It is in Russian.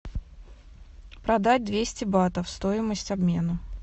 продать двести батов стоимость обмена